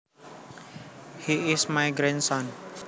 He is my grandson